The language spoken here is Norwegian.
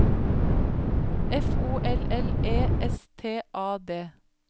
F O L L E S T A D